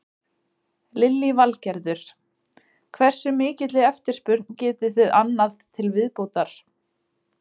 Lillý Valgerður: Hversu mikilli eftirspurn getið þið annað til viðbótar?